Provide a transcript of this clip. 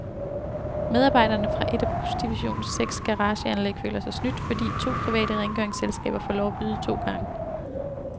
Medarbejderne fra et af busdivisionens seks garageanlæg føler sig snydt, fordi to private rengøringsselskaber får lov at byde to gange.